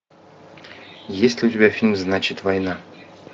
есть ли у тебя фильм значит война